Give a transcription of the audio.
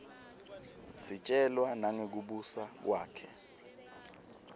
sitjelwa nangekubusa kwakhe